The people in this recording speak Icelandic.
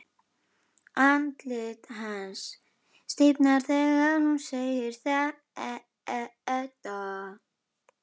Andlit hans stífnar þegar hún segir þetta.